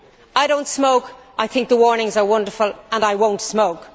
I do not smoke, I think the warnings are wonderful and I will not smoke.